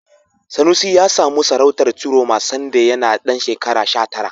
Sanusi ya samu sarautar Ciroma sanda yana ɗan shekara sha tara.